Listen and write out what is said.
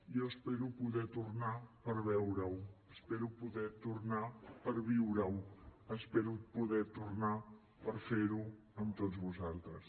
jo espero poder tornar per veure ho espero poder tornar per viure ho espero poder tornar per fer ho amb tots vosaltres